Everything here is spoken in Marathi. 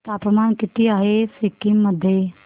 तापमान किती आहे सिक्किम मध्ये